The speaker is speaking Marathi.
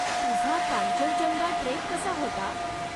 तुझा कांचनजंगा ट्रेक कसा होता?